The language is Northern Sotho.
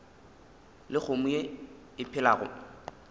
le kgomo ye e phelago